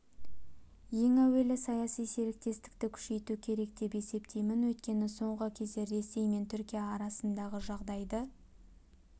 ең әуелі саяси серіктестікті күшейту керек деп есептеймін өйткені соңғы кездері ресей мен түркия арасындағы жағдайды